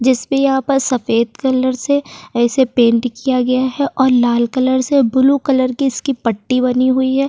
जिस पे यहाँ पर सफेद कलर से ऐसे पेंट किया गया है और लाल कलर से ब्लू कलर की इसकी पट्टी बनी हुई है।